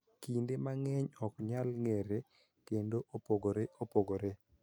Kinde mang�eny ok nyal ng�ere kendo opogore opogore.